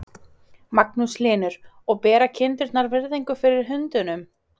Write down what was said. Magnús Hlynur: Og bera kindurnar virðingu fyrir hundunum?